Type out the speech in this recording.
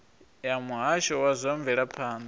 ya muhasho wa zwa mvelaphanda